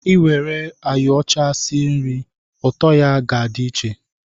E were ayo ọcha sie nri, ụtọ ya na-adị iche